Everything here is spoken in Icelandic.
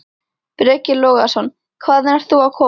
Breki Logason: Hvaðan ert þú að koma?